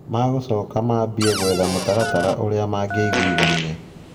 Magũcoka mambie gwetha mũtaratara ũrĩa mangĩiguithania.